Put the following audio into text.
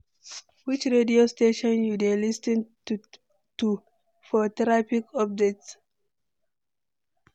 Which radio station you dey lis ten to for traffic updates?